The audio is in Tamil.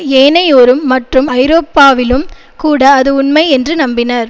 ஏனையோரும் மற்றும் ஐரோப்பாவிலும் கூட அது உண்மை என்று நம்பினர்